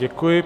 Děkuji.